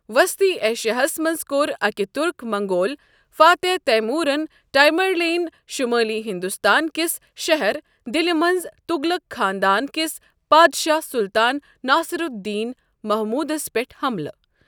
وسطی ایشیاہس منٛز کوٚر أکۍ تُرک منٛگول فاتح تیمورن ٹیمرلین شمٲلی ہندوستان کِس شہر دِلہِ منٛز تُغلَق خاندان کِس پادشاہ سُلطان ناصر الدین محموٗدس پٮ۪ٹھ حملہٕ۔